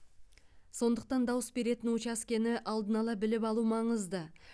сондықтан дауыс беретін учаскені алдын ала біліп алу маңызды